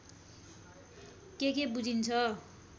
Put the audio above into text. के के बुझिन्छ